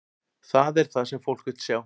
Það er það sem fólk vill sjá.